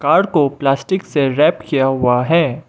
हर को प्लास्टिक से रैप किया हुआ है।